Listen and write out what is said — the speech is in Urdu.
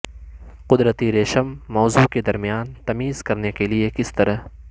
قدرتی ریشم موضوع کے درمیان تمیز کرنے کے لئے کس طرح